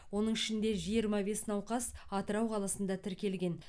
оның ішінде жиырма бес науқас атырау қаласында тіркелген